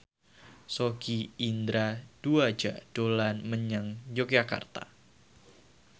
Sogi Indra Duaja dolan menyang Yogyakarta